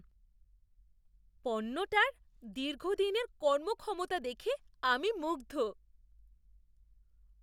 পণ্যটার দীর্ঘদিনের কর্মক্ষমতা দেখে আমি মুগ্ধ!